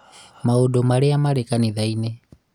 maũndũ marĩa marĩ kanitha-inĩ